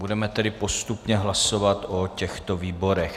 Budeme tedy postupně hlasovat o těchto výborech.